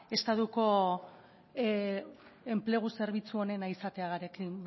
estatuko enplegu zerbitzu onena izatearekin